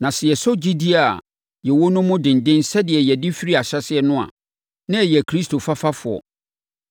Na sɛ yɛsɔ gyidie a yɛwɔ no mu denden sɛdeɛ yɛde firi ahyɛaseɛ no a, na yɛyɛ Kristo fafafoɔ.